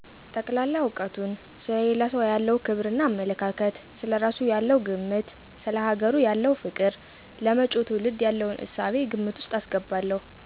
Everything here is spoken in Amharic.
ጠቅላላ እውቀቱን፣ ሰለ ሌላ ሰው ያለው ክብር እና አመለካከት፣ ስለ እራሱ ያለው ግምት፣ ሰለ ሀገሩ ያለው ፍቅር፣ ለመጭው ትውልድ የለውን እሳቤ ግምት ወስጥ አስገባለሁ።